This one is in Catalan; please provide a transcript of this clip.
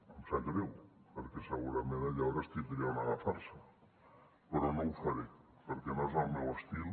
em sap greu perquè segurament aleshores tindria on agafar se però no ho faré perquè no és el meu estil